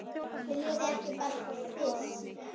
Viljið þið ekki bara fisk!